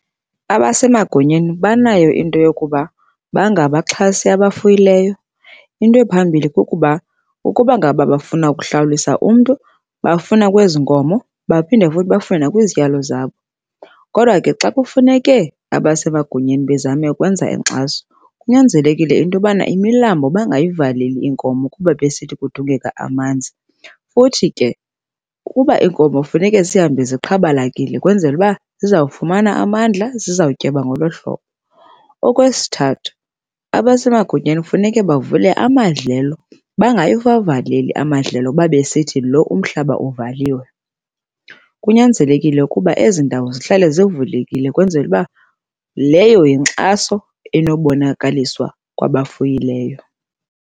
Abasemagunyeni banayo into yokuba bangabaxhasi abafuyileyo. Into ephambili kukuba ukuba ngaba bafuna ukuhlawulisa umntu bafuna kwezi nkomo, baphinde futhi bafune nakwizityalo zabo. Kodwa ke xa kufuneke abasemagunyeni bazame ukwenza inkxaso kunyanzelekile into yobana imilambo bangayivaleli iinkomo kuba besithi kudingeka amanzi. Futhi ke kuba iinkomo funeka zihambe ziqhabalakile ukwenzela uba zizawufumana amandla, zizawutyeba ngolo hlobo. Okwesithathu, abasemagunyeni kufuneke bavule amadlelo. Bangawavaleli amadlelo kuba besithi lo umhlaba uvaliwe. Kunyanzelekile ukuba ezi ndawo zihlale zivulekile ukwenzela uba leyo yinkxaso enobonakaliswa kwabafuyileyo.